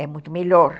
É muito melhor.